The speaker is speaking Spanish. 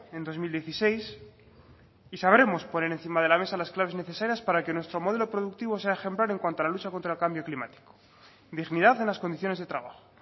en dos mil dieciséis y sabremos poner encima de la mesa las claves necesarias para que nuestro modelo productivo sea ejemplar en cuanto a la lucha contra el cambio climático dignidad en las condiciones de trabajo